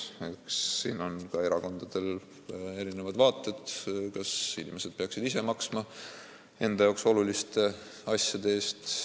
Eks siin ole ka erakondadel erinevad vaated, kas inimesed peaksid ise maksma neile oluliste asjade eest.